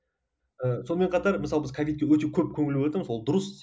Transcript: ііі сонымен қатар мысалы біз ковидке өте көп көңіл ол дұрыс